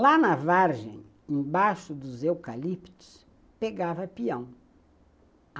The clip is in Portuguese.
Lá na vargem, embaixo dos eucaliptos, pegava peão.